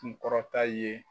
kun kɔrɔta ye.